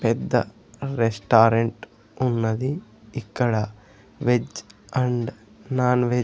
పెద్ద రెస్టారెంట్ ఉన్నది ఇక్కడ వెజ్ అండ్ నాన్ వె--